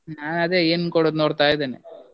ನಾನದೆ ಏನ್ ಕೊಡುದ್ ನೋಡ್ತಾ ಇದ್ದೇನೆ bgSpeach.